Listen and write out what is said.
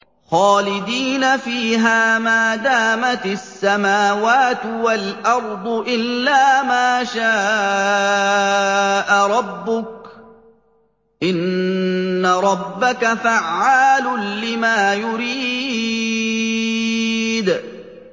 خَالِدِينَ فِيهَا مَا دَامَتِ السَّمَاوَاتُ وَالْأَرْضُ إِلَّا مَا شَاءَ رَبُّكَ ۚ إِنَّ رَبَّكَ فَعَّالٌ لِّمَا يُرِيدُ